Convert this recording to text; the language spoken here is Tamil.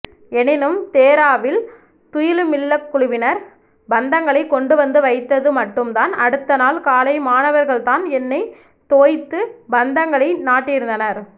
எனினும் தேராவில் துயிலுமில்லக்குழுவினர் பந்தங்களை கொண்டுவந்து வைத்தது மட்டும்தான் அடுத்தநாள் காலை மாணவர்கள்தான் எண்ணை தோய்த்து பந்தங்களை நாட்டியிருந்தனர்